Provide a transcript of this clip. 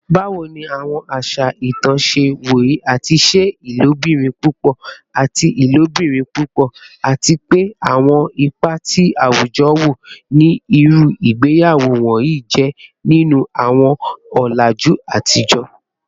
Bawo ni awọn aṣa itan ṣe woye ati ṣe ilobirin pupọ ati ilobirin pupọ, ati pe awọn ipa ti awujọ wo ni iru igbeyawo wọnyi jẹ ninu awọn ọlaju atijọ?